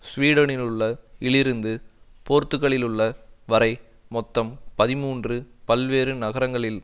ஸ்வீடனிலுள்ள இலிருந்து போர்த்துக்கலிலுள்ள வரை மொத்தம் பதிமூன்று பல்வேறு நகரங்களில்